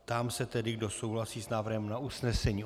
Ptám se tedy, kdo souhlasí s návrhem na usnesení.